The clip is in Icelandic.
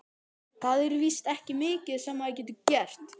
Það er víst ekki mikið sem maður getur gert.